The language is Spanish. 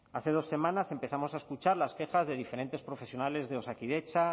hace dos semanas empezamos a escuchar las quejas de diferentes profesionales de osakidetza